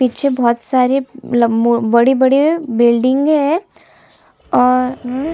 पीछे बहोत सारे लम मो अ बड़े-बड़े बिल्डिंग है और --